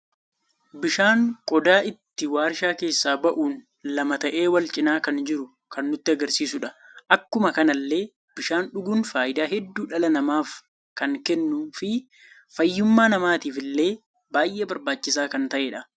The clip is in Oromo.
Bishaan qodaa itti warshaa keessa ba'uun lama ta'e wal cina kan jiru kan nutti agarsiisuudha. Akkuma kanallee bishan dhuguun faayida hedduu dhala namaaf kan kennu fi faayyumma namatiifille baay'ee barbaachiisa kan ta'edha.